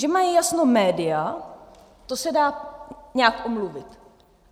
Že mají jasno média, to se dá nějak omluvit.